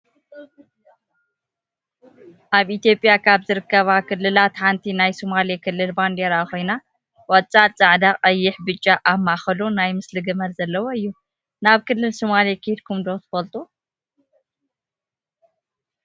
ኣብ ኢትዮጵያ ካብ ዝርከባ ክልላት ሓንቲ ናይ ሶማሌ ክልል ባንዴራ ኮይና ቆፃልን ፃዕዳ፣ ቀይሕ፣ ብጫ ኣብ ማእከሉ ናይ ምስሊ ግመል ዘለው እዩ። ናይ ክልል ሶማሌ ከድኩም ዶ ትፈልጡ?